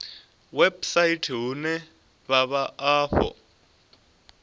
website vhune ha vha afho